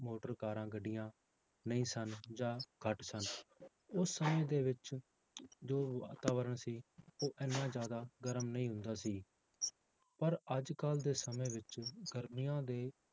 motor, ਕਾਰਾਂ, ਗੱਡੀਆਂ ਨਹੀਂ ਸਨ ਜਾਂ ਘੱਟ ਸਨ, ਉਸ ਸਮੇਂ ਦੇ ਵਿੱਚ ਜੋ ਵਾਤਾਵਰਨ ਸੀ ਉਹ ਇੰਨਾ ਜ਼ਿਆਦਾ ਗਰਮ ਨਹੀਂ ਹੁੰਦਾ ਸੀ, ਪਰ ਅੱਜ ਕੱਲ੍ਹ ਦੇ ਸਮੇਂ ਵਿੱਚ ਗਰਮੀਆਂ ਦੇ